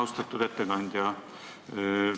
Austatud ettekandja!